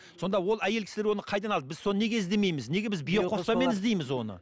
сонда ол әйел кісілер оны қайдан алды біз соны неге іздемейміз неге біз іздейміз оны